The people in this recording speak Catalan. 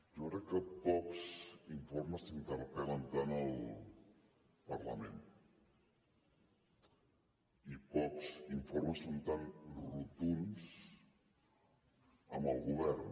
jo crec que pocs informes interpel·len tant el parlament i pocs informes són tan rotunds amb el govern